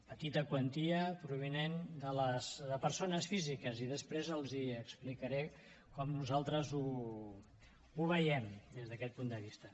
petita quantia provinent de les persones físiques i després els explicaré com nosaltres ho veiem des d’aquest punt de vista